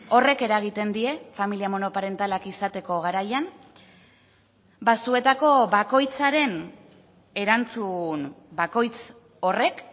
horrek eragiten die familia monoparentalak izateko garaian ba zuetako bakoitzaren erantzun bakoitz horrek